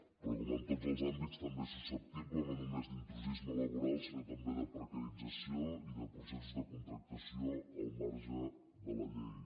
però com en tots els àmbits també és susceptible no només d’intrusisme laboral sinó també de precarització i de processos de contractació al marge de la llei